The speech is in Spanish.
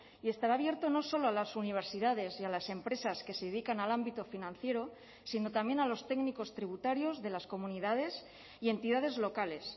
y estará abierto no solo a las universidades y a las empresas que se dedican al ámbito financiero sino también a los técnicos tributarios de las comunidades y entidades locales